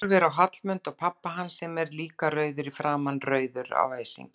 Horfir á Hallmund og pabba hans sem er líka rauður í framan, rauður af æsingi.